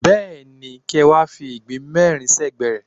Bẹ́ẹ̀ni, kí ẹ wá fi ìgbín mẹ́rin sẹ́gbẹ̀ẹ́ rẹ̀.